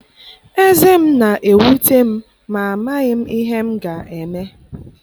Ezé m na-ewute m ma amaghị m ihe m ga-eme.